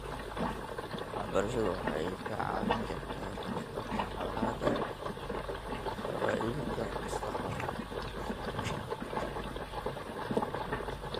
Waxbarashadu waxay kaa caawin kartaa ka hortagga colaadaha qabaa'ilka mustaqbalka .